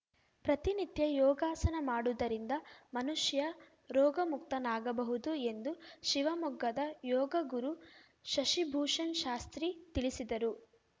ಪ್ರತಿನಿತ್ಯ ಯೋಗಾಸನ ಮಾಡುದರಿಂದ ಮನುಷ್ಯ ರೋಗ ಮುಕ್ತನಾಗಬಹುದು ಎಂದು ಶಿವಮೊಗ್ಗದ ಯೋಗಗುರು ಶಶಿಭೂಷಣ್‌ಶಾಸ್ತ್ರಿ ತಿಳಿಸಿದರು